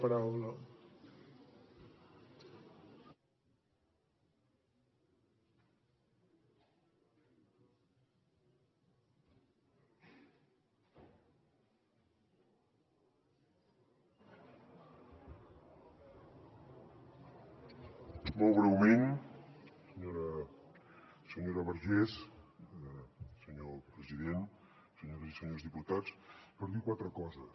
molt breument senyora vergés senyor president senyores i senyors diputats per dir quatre coses